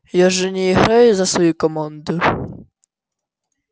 я же не играю за свою команду